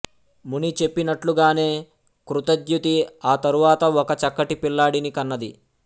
ముని చెప్పినట్లుగానే కృతద్యుతి ఆ తరువాత ఒక చక్కటి పిల్లాడిని కన్నది